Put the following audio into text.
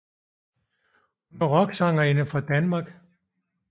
Hun er en rocksangerinde fra Danmark